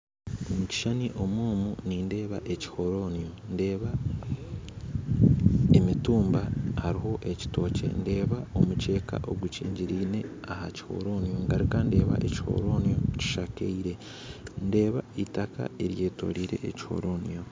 Omukishushani omu nindeeba ekihoronio nindeeba emitumba hariho ekitookye ndeeba emukyeeka ogukingiriine aha kihoronio ngaruka ndeeba ekihoronio kishakaire ndeeba itaka eryetoreire ekihoronio